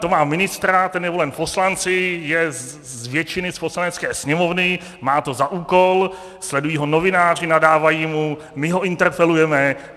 To má ministra, ten je volen poslanci, je z většiny z Poslanecké sněmovny, má to za úkol, sledují ho novináři, nadávají mu, my ho interpelujeme.